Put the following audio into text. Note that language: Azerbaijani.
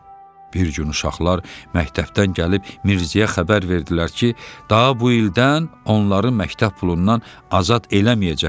Bir gün uşaqlar məktəbdən gəlib Mirzəyə xəbər verdilər ki, daha bu ildən onları məktəb pulundan azad eləməyəcəklər.